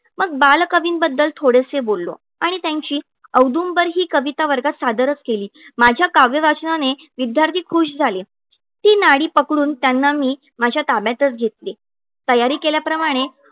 मग बालकवींबद्दल थोडेसे बोललो आणि त्यांची औदुंबर ही कविता वर्गात सादर केली. माझ्या काव्य वाचनाने विद्यार्थी खुश झाले. ती नाडी पकडून त्यांना मी माझ्या ताब्यातच घेतले. तयारी केल्याप्रमाणे